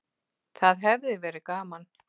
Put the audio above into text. Það hefði verið gaman.